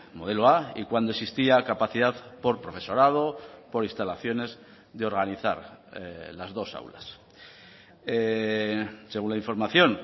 modelo a y cuando existía capacidad por profesorado por instalaciones de organizar las dos aulas según la información